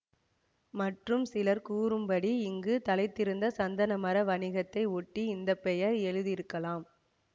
மற்றும் சிலர் கூற்றுப்படி இங்கு தழைத்திருந்த சந்தனமர வணிகத்தை ஒட்டி இந்த பெயர் எழுதி இருக்கலாம்